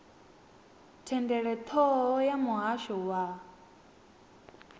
thendelo thoho ya muhasho wa